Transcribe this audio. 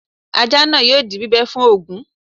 Ajá náà yóò di bíbẹ́ fún Ògún